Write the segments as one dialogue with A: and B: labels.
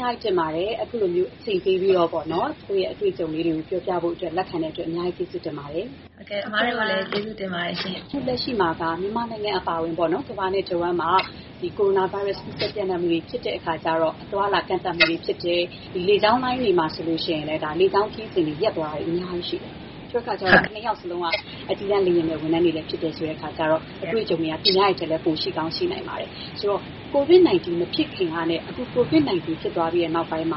A: များကြီးတင်ပါတယ်။ အခုလို အချိန်ပေးပြီး ကိုယ့်ရဲ့ အတွေ့အကြေုံတွေကို ပြောပြဖို့လက်ခံတဲ့အတွက် ကျေးဇူးအများကြီးတင်ပါတယ်။
B: ဟုတ်ကဲ့ပါ။
C: ဟုတ်ကဲ့ အစ်မကိုလည်း ကျေးဇူးတင်ပါတယ်။
A: အခုလက်ရှိမှာက မြန်မာနိုင်ငံ အပါအဝင် ကမ္ဘာနဲ့တဝှမ်းမှာ ကိုရိုနာဗိုင်းရပ်စ် ကူးစက် ပျံ့နှံ့မှုတွေ ဖြစ်တဲ့အခါကျတော့ အသွားအလာကန့်သတ်မှုတွေ ဖြစ်တယ်။ လေကြောင်းလိုင်းတွေ မှာဆိုရင်လည်း လေကြောင်းခရီးစဉ်တွေ ရပ်သွားတာတွေ အများကြီးရှိတယ်။ ဆိုတော့ မဆူးလဲ့ညွှန့်နဲ့ နော်သဇင်ကိုကို တို့ နှစ်ယောက်စလုံးကလည်း အကြီးတန်း လေယာဉ်မယ်တွေ ဖြစ်ကြတယ် ဆိုတော့ အတွေ့အကြုံတွေက သူများတွေထက်လည်း ပိုရှိကောင်းရှိနိုင်ပါတယ်။ ဆိုတော့ ကိုဗစ်-၁၉ မဖြစ်ခင်ကနဲ့ အခု ကိုဗစ်-၁၉ ကူးစက်မှုတွေ ဖြစ်လာပြီးတဲ့နောက်ပိုင်း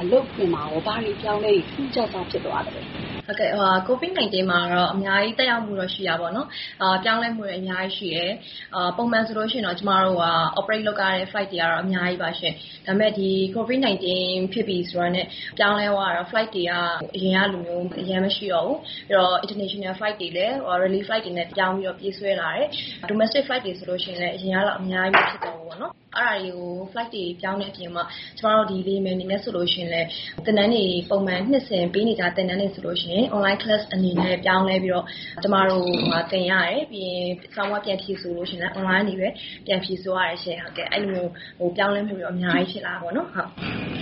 A: အလုပ်ခွင်မှာ ထူးထူးခြားခြား အပြောင်းအလဲ ဘာတွေရှိပါသလဲ။
C: ဟုတ်ကဲ့။ ကိုဗစ်-၁၉ မှာတော့ အများကြီး သက်ရောက်မှုတော့ ရှိတာပေါ့နော်။ ပြောင်းလဲမှုတွေ အများကြီးရှိတယ်။ ပုံမှန်ဆိုလို့ရှိရင်တော့ ကျမတို့က operate လုပ်ရတဲ့ flight တွေက အများကြီးပါရှင့်။ ဒါပေမဲ့ ဒီ ကိုဗစ်-၁၉ ဖြစ်ပြီဆိုတာနဲ့ ပြောင်းလဲသွားတာ ကတော့ flight တွေက အရင်ကလို အရမ်းမရှိတော့ဘူး။ ပြီးတော့ international flight တွေလည်း relief flight တွေ အနေနဲ့ ပြောင်းပြီးတော့ ပြေးဆွဲလာတယ်။ domestic flight တွေဆိုရင်လည်း အရင်ကလောက် အများကြီး မရှိတော့ဘူးပေါ့နော်။ အဲ့ဒါတွေ flight တွေ ပြောင်းတဲ့အပြင်ကို ကျမတို့ လေယာဉ်မယ် အနေနဲ့ဆိုရင်လည်း သင်တန်းတွေ ပုံမှန် နှစ်စဉ်ပေးနေကျ သင်တန်းတွေဆိုလို့ရှိရင် online class တွေ အနေနဲ့ ပြောင်းလဲပြီးတော့ ကျမတို့ သင်ရတယ်။ စာမေးပွဲ ပြန်ဖြေဆိုလို့ရှိရင်လည်း အွန်လိုင်းကနေပဲ ပြန်ဖြေဆိုရတယ်ရှင့်။ အဲဒီလိုမျိုး ပြောင်းလဲမှုတွေတော့ အများကြီး ဖြစ်လာတာပေါ့နော်။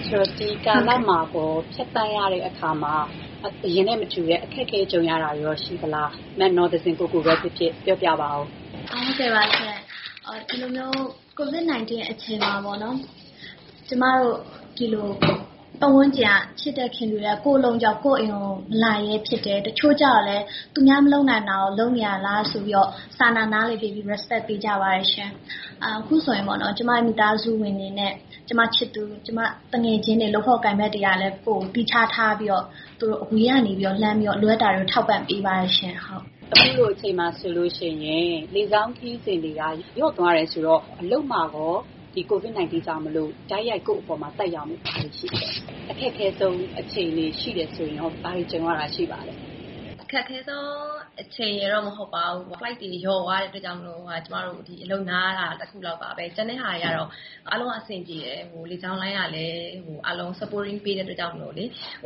A: ဆိုတော့ ဒီကာလမှာ ဖြတ်သန်းရတဲ့အခါမှာ အရင်နဲ့မတူတဲ့ အခက်အခဲကြုံရတာတွေရော ရှိပါသလား။ နော်သဇင်ကိုကို လည်း ပြောပြပေးပါဦးရှင့်။
B: ဟုတ်ကဲ့ပါရှင့်။ ဒီလိုမျိုး ကိုဗစ်-၁၉ အချိန်မှာ ကျမတို့ ဒီလို ပတ်ဝန်းကျင်က ချစ်တဲ့ခင်တဲ့သူတွေက ကိုယ့်အလုပ်ကြောင့် ကိုယ့်အိမ်ကို မလာရဲဖြစ်တယ်။ တချို့ကျတော့လည်း သူများမလုပ်နိုင်တာကို လုပ်နေရတာဆိုပြီးတော့ စာနာ နားလည်ပေးပြီး respect ပေးကြပါတယ်ရှင့်။ အခုဆိုရင် ကျမရဲ့ မိသားစုဝင်တွေနဲ့ ကျမ ချစ်သူ၊ ကျမ သူငယ်ချင်းတွေ၊ လုပ်ဖော်ကိုင်ဖက်တွေကလည်း ကိုယ့်ကို သီးခြားထားပြီးတော့ သူတို့ အဝေးကနေ လှမ်းပြီးတော့ လိုအပ်တာတွေ ထောက်ပံ့ပေးပါတယ်ရှင့်။
A: အခုလိုအချိန်မှာဆိုရင် လေကြောင်းခရီးစဉ်တွေ လျော့သွားတယ်ဆိုတော့ ကိုယ့်အလုပ်မှာ ကိုဗစ်-၁၉ ကြောင့် တိုက်ရိုက်ကိုယ့်အပေါ် သက်ရောက်မှု ဘာတွေရှိပါလဲ။ အခက်ခဲဆုံး အခြေအနေ ဖြတ်သန်းရတာရှိတယ်ဆိုရင်လည်း ဘာတွေကြုံရတာရှိပါသလဲ။
C: အခက်ခဲဆုံး အချိန်ရယ်လို့တော့ မဟုတ်ပါဘူး။ flight တွေ လျော့သွားတဲ့အတွက်ကြောင့် ကျမတို့ အလုပ်နားရတာ တခုလောက်ပါပဲ။ ကျန်တဲ့ဟာတွေကတော့ အားလုံးက အဆင်ပြေတယ်။ လေကြောင်းလိုင်းကလည်း အားလုံး support ကူညီထောက်ပံ့ပေးတဲ့အတွက်ကြောင့်မို့လေ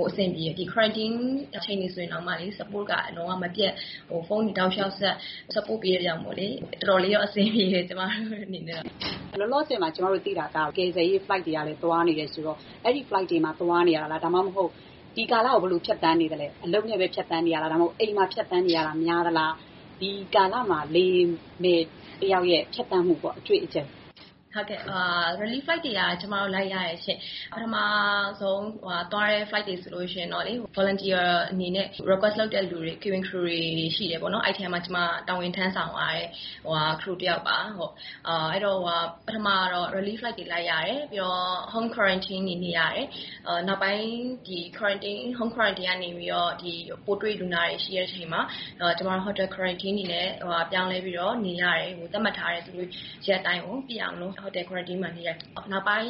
C: အဆင်ပြေတယ်။ ဒီ quarantine နေရတဲ့အချိန်တွေတောင် support က လုံးဝမပြတ်၊ ဖုန်းတွေေတောက်လေ ျှာက်ဆက်ပြီး support ပေးတဲ့အတွက်ကြောင့်လေ တော်တော်လေးတော့ အဆင်ပြေတယ်။ ကျမတို့ အနေနဲကတော့။
A: လောလောဆယ် ကျမတို့သိတာက ကယ်ဆယ်ရေးလေယာဉ်တွေ သွားနေတယ်ဆိုတော့ အဲ့ဒီ flight တွေမှာပဲ သွားနေရတာလား။ ဒါမှမဟုတ် ဒီကာလကို ဘယ်လိုဖြတ်သန်းနေသလဲ။ အလုပ်နဲ့ပဲ ဖြတ်သန်းနေတာလား။ ဒါမှမဟုတ် အိမ်မှာဖြတ်သန်းနေရတာ များသလား။ ဒီကာလမှာ လေယာဉ်မယ်တယောက်ရဲ့ ဖြတ်သန်းမှု အတွေ့အကြုံပေါ့။
C: ဟုတ်ကဲ့။ relief flight တွေက လိုက်ရတယ်ရှင့်။ ပထမဆုံးသွားတဲ့ flight တွေဆိုရင်တော့လေ။ volunteer အနေနဲ့ လိုက်ဖို့ request လုပ်တဲ့ cabin crew တွေ ရှိတယ်ပေါ့နော်။ အဲ့ဒီအထဲမှာ ကျမက တာဝန်ထမ်းဆောင်ရတဲ့သူ တယောက်ပါ။ အဲ့ဒီတော့ ပထမ ကတော့ relief flight တွေ လိုက်ရတယ်။ ပြီးတော့ အိမ်မှာ home quarantine တွေ နေရတယ်။ နောက်ပိုင်း home quarantine ကနေပြီးတော့ ပိုးတွေ့လူနာတွေရှိတဲ့အချိန်မှာ ကျမတို့ hotel quarantine အနေနဲ့ ပြောင်းလဲပြီး နေရတယ်။ သတ်မှတ်ထားတဲ့ ရက်အတိုင်းပြည့်အောင် hotel quarantine မှာ နေရတယ်။ နောက်ပိုင်း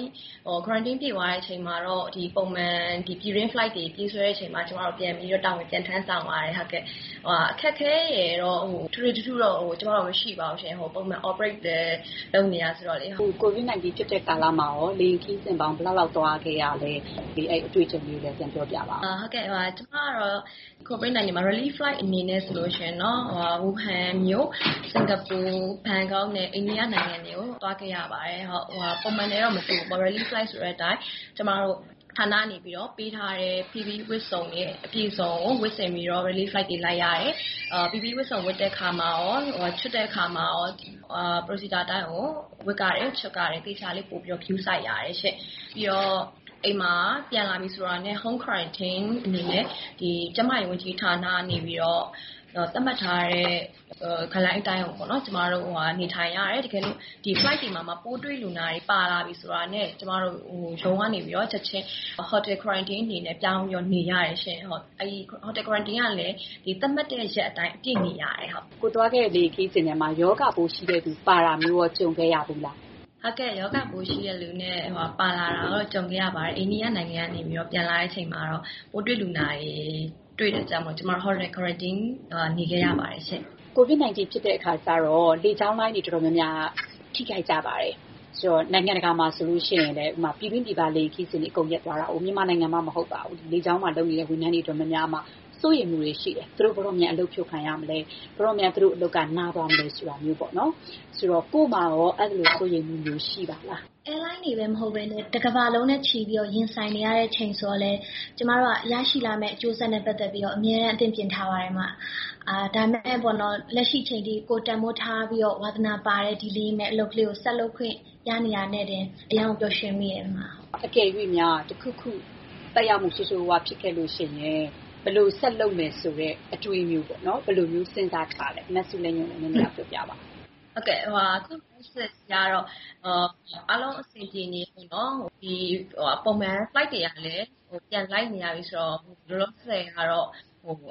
C: quarantine ပြည့်သွားတဲ့အချိန်မှာတော့ ပုံမှန် ပြည်တွင်း flight တွေ ပြေးဆွဲတဲ့အချိန်မှာ ကျမတို့ ပြန်ပြီးတော့ တာဝန် ပြန် ထမ်းဆောင်ရပါတယ်။ အခက်အခဲရယ်တော့ ထွေထွေထူးထူးတော့ ကျမတို့ မရှိပါဘူးရှင့်။ ပုံမှန် operate လည်း လုပ်နေတာဆိုတော့လေ။
A: အခု ကိုဗစ်-၁၉ ဖြစ်နေတဲ့ကာလမှာ လေယာဉ်ခရီးစဉ်ပေါင်း ဘယ်လောက်လောက် သွားခဲ့ရပါလဲ။ အဲ့ဒီအတွေ့အကြုံလေးကိုလည်း ပြောပြပါဦး။
C: ကျမကတော့ ကိုဗစ်-၁၉ မှာ relief flight အနေနဲ့ ဆိုလို့ရှိရင်တော့ တရုတ်နိုင်ငံ ဝူဟန်မြို့၊ စင်ကာပူ၊ ဘန်ကောက်နဲ့ အိန္ဒိယနိုင်ငံတွေကို သွားခဲ့ရပါတယ်။ ပုံမှန်နဲ့တော့ မတူဘူးပေါ့။ relief flight ဆိုတဲ့အတိုင်း ကျမတို့ ဌာနကနေပေးထားတဲ့ PPE ဝတ်စုံတွေ အပြည့်အစုံကို ဝတ်ဆင်ပြီး relief flight တွေ လိုက်ရတယ်။ PPE ဝတ်စုံ ဝတ်တဲ့အခါမှာရော ချွတ်တဲ့အခါမှာရော procedure အတိုင်းကို ဝတ်ရတယ်။ ချွတ်ရတယ်။ သေချာလေး ပိုပြီးတော့ ဂရုစိုက်ရတယ်ရှင့်။ ပြီးတော့ အိမ်မှာပြန်လာပြီဆိုတာနဲ့ home quarantine အနေနဲ့ ကျန်းမာရေး ဝန်ကြီးဌာနကနေ သတ်မှတ်ထားတဲ့ guideline အတိုင်းကိုပေါ့နော် ကျမတို့ နေထိုင်ရတယ်။ တကယ်လို့ ဒီ flight တွေမှာ ပိုးတွေ့လူနာတွေ ပါလာပြီဆိုတာနဲ့ ကျမတို့ ရုံးကနေပြီးတော့ ချက်ချင်း hotel quarantine အနေနဲ့ ပြောင်းပြီးတော့ နေရတယ်ရှင့်။ အဲ့ဒီ hotel quarantine ကလည်း ဒီသတ်မှတ်တဲ့ရက်အတိုင်း အပြည့်နေရတယ်။
A: ကိုယ်သွားခဲ့တဲ့ လေယာဉ်ခရီးစဉ်ထဲမှာ ရောဂါပိုးရှိတဲ့သူ ပါလာတာမျိုး ကြုံခဲ့ရဖူးပါသလား။
C: ဟုတ်ကဲ့။ ရောဂါပိုးရှိတဲ့သူ ပါလာတာနဲ့ ကြုံခဲ့ရဖူးပါတယ်။ အိန္ဒိယနိုင်ငံကနေ ပြန်လာတဲ့အချိန်မှာတော့ ပိုးတွေ့ လူနာတွေ တွေ့တဲ့အတွက်ကြောင့်မိုလို့ ကျမတို့ hotel quarantine နေခဲ့ရပါတယ်ရှင့်။
A: ကိုဗစ်-၁၉ ဖြစ်တဲ့အခါကျတော့ လေကြောင်းလိုင်းတွေ အတော်များများ ထိခိုက်ကြပါတယ်။ နိုင်ငံတကာမှာဆိုလို့ရှိရင်လည်း ပြည်တွင်းပြည်ပ လေယာဉ်ခရီးစဉ်တွေ အကုန်လုံး ရပ်သွားခဲ့တာဆိုတော့။ မြန်မာနိုင်ငံမှာတင်မဟုတ်ဘဲ နိုင်ငံတကာမှာရော လေကြောင်းလိုင်းတွေမှာ အလုပ် လုပ်နေကြတဲ့ဝန်ထမ်းတွေကြားမှာ စိုးရိမ်မှုတွေရှိပါတယ်။ သူတို့ ဘယ်တော့ အလုပ်ဖြုတ်ခံရမလဲ။ သူတို့အလုပ်တွေ ဘယ်တော့ ရပ်နားသွားကြမလဲ ဆိုတာမျိုးပေါ့နော်။ ကိုယ့်မှာရော အဲ့ဒီလို စိုးရိမ်မှုမျိုး ရှိပါသလား။
B: Airline တွေတင်မဟုတ်ဘဲနဲ့ တကမ္ဘာလုံးနဲ့ချီပြီးတော့ ရင်ဆိုင်နေရတဲ့အချိန် ဆိုတော့လည်း ကျမတို့က ရရှိလာမယ့်အကျိုးဆက်နဲ့ပတ်သက်ပြီးတော့ အမြဲတမ်း အသင့်ပြင်ထားပါတယ် အစ်မ။ ဒါပေမဲ့ လက်ရှိအချိန်အထိ ကိုယ်တန်ဖိုးပြီးတော့ ဝါသနာပါတဲ့ ဒီလေယာဉ်မယ်အလုပ်ကလေးကို ဆက်လုပ်ခွင့်ရနေတာနဲ့တင် အရမ်းကို ပျော်ရွှင်မိပါတယ် အစ်မ။
A: အကယ်၍များ တခုခု သက်ရောက်မှု ဆိုးဆိုးရွားရွား ရှိခဲ့ရင်လည်း ဘယ်လိုဆက်လုပ်မယ်ဆိုတဲ့ အတွေးမျိုးပေါ့။ ဘယ်လိုစဉ်းစားထားလဲ။ မဆူးလဲ့ညွှန့် လည်း ပြောပြပါဦး။
C: ဟုတ်ကဲ့။ အခု လောလောဆယ်အထိကတော့ အားလုံး အဆင်ပြေနေတုန်းပဲပေါ့နော်။ ပုံမှန် flight တွေကလည်း ပြန်လိုက်နေရပြီ ဆိုတော့ လောလောဆယ်ကတော့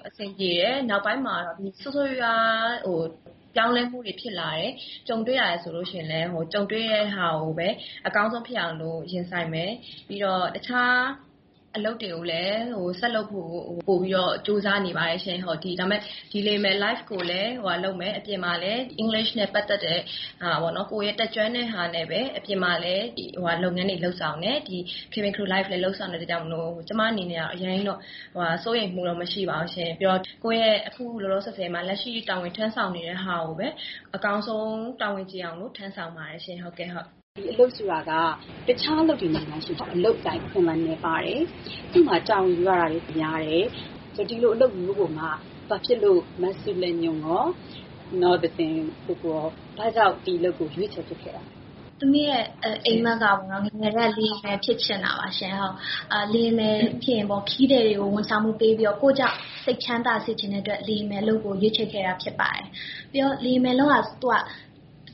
C: အဆင်ပြေတယ်။ နောက်ပိုင်းမှာ ဆိုးဆိုးရွားရွား ပြောင်းလဲမှုတွေဖြစ်လာတယ် ကြုံတွေ့ရတယ် ဆိုလို့ရှိရင်လည်း ကြုံတွေ့တဲ့ဟာကိုပဲ အကောင်းဆုံးဖြစ်အောင်လို့ ရင်ဆိုင်မယ်။ ပြီးတော့ တခြား အလုပ်တွေကိုလည်း ဆက်လုပ်ဖို့ကို ပိုပြီးတော့ ကြိုးစားနေပါတယ်ရှင့်။ ဒါပေမဲ့ ဒီလေယာဉ်မယ် ဘဝကိုလည်း ဆက်လုပ်မယ်။ အပြင်မှာလည်း အင်္ဂလိပ်စာနဲ့ပတ်သက်တဲ့ဟာပေါ့နော်။ ကိုယ့်ရဲ့တတ်ကျွမ်းတဲ့ဟာနဲ့ပဲ အပြင်မှာလည်း လုပ်ငန်းတွေ လုပ်ဆောင်တယ်။ ဒီ cabin crew life လေယာဉ်ဝန်ထမ်းဘဝလည်း လုပ်ဆောင်တဲ့အတွက်ကြောင့်မိုလို့ ကျမ အနေနဲ့ကတော့ အရမ်းကြီးတော့ စိုးရိမ်မှုတော့ မရှိပါဘူးရှင့်။ ပြီးတော့ အခု လောလောဆယ်မှာ လက်ရှိ တာဝန်ထမ်းဆောင်နေတဲ့ဟာကိုပဲ အကောင်းဆုံး တာဝန်ကျေအောင် ထမ်းဆောင်ပါတယ်ရှင့်။
A: ဒီလေယာဉ်ဝန်ထမ်းအလုပ်က တခြား အလုပ်တွေနဲ့ နှိုင်းယှဉ်ရင် အလုပ်အကိုင် အခွင့်အလမ်း နည်းပါးတယ်။ တာဝန်ယူရတာတွေ များတယ်။ သတ်မှတ်ချက်တွေ များတယ်။ ဒီလိုအလုပ်မျိုးကိုမှ မဆူးလဲ့ညွှန့် ရော၊ နော်သဇင်ကိုကို ရော ဘာကြောင့် ရွေးချယ် လုပ်ဖြစ်ခဲ့တာပါလဲ။
B: သမီးရဲ့ အိပ်မက်က ငယ်ငယ်ကတည်းက လေယာဉ်မယ် ဖြစ်ချင်တာပါရှင်။ လေယာဉ်မယ်ဖြစ်ရင် ခရီးသည်တွေကို ဝန်ဆောင်မှုပေးပြီးတော့ ကိုယ့်ကြောင့် စိတ်ချမ်းသာစေချင်တဲ့အတွက် လေယာဉ်မယ် အလုပ်ကို ရွေးချယ်ခဲ့တာဖြစ်ပါတယ်။ ပြီးတော့ လေယာဉ်မယ်လုပ်ရတာက တ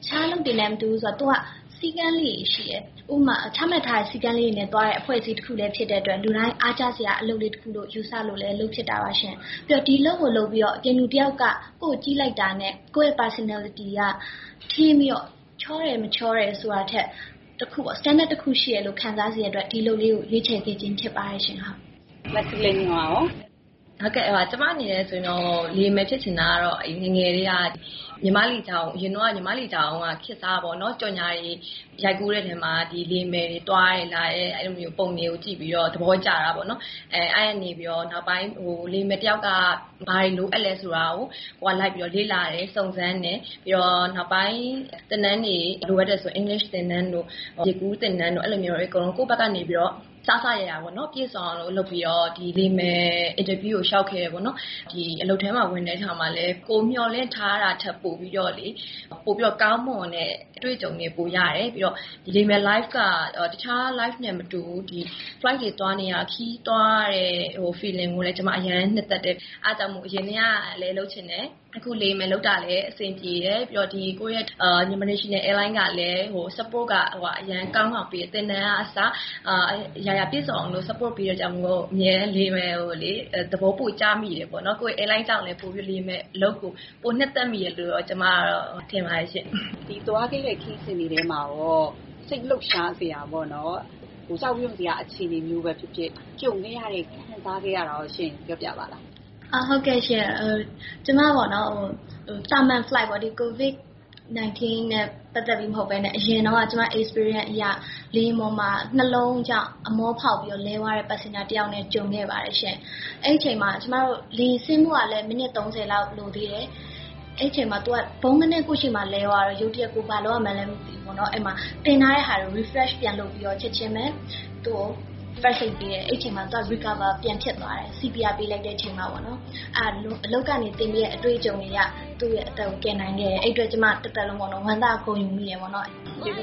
B: ခြားအလုပ်တွေနဲ့ မတူပါဘူး။ သူက စည်းကမ်းလေးတွေ ရှိတယ်။ ဥပမာ ချမှတ်ထားတဲ့ စည်းကမ်းလေးတွေနဲ့သွားရတဲ့ အဖွဲ့အစည်းတခုလည်း ဖြစ်တဲ့အတွက် လူတိုင်းအားကျစရာ အလုပ်လေးတခုလို့ ယူဆလို့လည်း လုပ်ဖြစ်တာပါ။ ပြီးတော့ ဒီအလုပ်ကို လုပ်ပြီးတော့ အပြင်လူတယောက်က ကိုယ့်ကို ကြည့်လိုက်တာနဲ့ ကိုယ့်ရဲ့ personality က ထင်းပြီးတော့၊ ချောတယ် မချောတယ်ဆိုတာထက် standard တခုရှိတယ်လို့ ခံစားရစေတဲ့အတွက် ဒီအလုပ်ကို ရွေးချယ်ခဲ့ခြင်း ဖြစ်ပါတယ်ရှင့်။
A: မဆူးလဲ့ညွှန့်ကရော။
C: ဟုတ်ကဲ့။ ကျမ အနေနဲ့ဆိုရင်တော့ လေယာဉ်မယ်ဖြစ်ချင်တာက ငယ်ငယ်ကတည်းက မြန်မာ့လေကြောင်းလိုင်းကိုပေါ့နော်။ အရင်တုန်းက မြန်မာ့လေကြောင်းလိုင်းက ခေတ်စားတာပေါ့နော်။ ကြော်ငြာတွေ ရိုက်ကူးတဲ့အထဲမှာ လေယာဉ်မယ်တွေ သွားတဲ့လာတဲ့ပုံတွေကို ကြည့်ပြီးတော့ သဘောကျတာပေါ့နော်။ အဲ့ဒီကနေပြီးတော့ နောက်ပိုင်း လေယာဉ်မယ်တယောက်က ဘာတွေလုပ်အပ်သလဲ ဆိုတာကို ကိုယ်ကလိုက်ပြီးတော့ လေ့လာတယ်။ စုံစမ်းတယ်။ ပြီးတော့ နောက်ပိုင်း သင်တန်းတွေ လိုအပ်တယ်ဆိုရင် အင်္ဂလိပ်သင်တန်းတို့၊ ရေကူးသင်တန်းတို့ အဲ့ဒီလိုမျိုးတွေ အကုန်လုံး ကိုယ့်ဘက်ကနေပြီးတော့ အစစအရာရာ ပြည့်စုံအောင်လုပ်ပြီးတော့ ဒီလေယာဉ်မယ်အင်တာဗျူးကို လေ ျှာက်ခဲ့တာပေါ့နော်။ ဒီအလုပ်ထဲမှာဝင်တဲ့အခါမှာလည်း ကိုယ်မေ ျှာ်လင့်ထားတာထက် ပိုပြီးတော့ ကောင်းမွန်တဲ့ အတွေ့အကြုံတွေ ပိုရတယ်။ ပြီးတော့ ဒီလေယာဉ်မယ် ဘဝက တခြားဘဝနဲ့မတူဘူး။ flight တွေ သွားနေရတာ ခရီးတွေသွားရတဲ့ ခံစားချက်ကိုလည်း ကျမ အရမ်း နှစ်သက်တယ်။ အဲ့ဒါကြောင့်မို့ အရင်ကတည်းကလည်း လုပ်ချင်တယ်။ အခု လေယာဉ်မယ်လုပ်တာလည်း အဆင်ပြေတယ်။ ပြီးတော့ ကိုယ့်ရဲ့ Myanmar National Airlines ကလည်း support က အရမ်းကောင်းကောင်းပေးတယ်။ သင်တန်းကအစ အရာရာပြည့်စုံအောင် support ပေးတဲ့အတွက်ကြောင့်မို့ အမြဲတမ်း လေယာဉ်မယ်ဘဝကိုလေ သဘောပိုကျမိတာပေါ့နော်။ ကိုယ့်ရဲ့ airline ကြောင့်လည်း လေယာဉ်မယ်အလုပ်ကို ပိုနှစ်သက်မိတယ်လို့ ကျမ ကတော့ ထင်ပါတယ်ရှင့်။
A: ကိုယ်သွားခဲ့တဲ့ ခရီးစဉ်တွေထဲမှာရော စိတ်လှုပ်ရှားစရာ ကြောက်ရွံ့ထိတ်လန့်စရာ အခြေအနေမျိုးပဲဖြစ်ဖြစ် ကြုံခဲ့ရတာ ခံစားခဲ့ရတာရော ရှိတယ်ဆိုရင် ပြောပြပါလား။
B: ဟုတ်ကဲ့ရှင့်။ ကျမ သာမန် flight ပေါ့နော်။ ဒီ ကိုဗစ်-၁၉ နဲ့ပတ်သက်ပြီးမဟုတ်ဘဲနဲ့ အရင်တုန်းက ကျမ အတွေ့အကြုံအရ လေယာဉ်ပေါ်မှာ နှလုံးကြောင့် အမောဖောက်ပြီးတော့ လဲသွားတဲ့ ခရီးသည်တယောက်နဲ့ ကြုံခဲ့ပါတယ်ရှင့်။ အဲ့ဒီအချိန်မှာ ကျမတို့ လေယာဉ်ဆင်းဖို့ကလည်း မိနစ် ၃၀ လောက် လိုသေးတယ်။ အဲ့ဒီအချိန်မှာ သူက ဗုန်းခနဲ ကိုယ့်ရှေ့မှာလဲသွားတော့ ရုတ်တရက် ကိုယ် ဘာလုပ်ရမယ်မှန်းလဲ မသိဘူးပေါ့နော်။ အဲ့ဒီမှာ သင်ထားတဲ့ဟာတွေကို refresh ပြန်လုပ်ပြီးတော့ ချက်ချင်းပဲ သူ့ကို first aid ပေးတယ်။ အဲ့ဒီအခါမှာ သူက recover ပြန်ဖြစ်သွားတယ်။ CPR ပေးလိုက်တဲ့အချိန်မှာပေါ့နော်။ အဲ့ဒါ အလုပ်ကနေ သင်ပေးတဲ့ အတွေ့အကြုံတွေအရ သူ့ရဲ့အသက်ကို ကယ်နိုင်ခဲ့တယ်။ အဲ့ဒီအတွက် ကျမ တသက်လုံး ဝမ်းသာဂုဏ်ယူမိတယ်ပေါ့နော်။
A: ကျေးဇူ